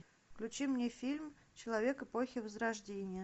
включи мне фильм человек эпохи возрождения